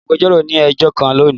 Agbẹjọro ni ẹjọ kan loni.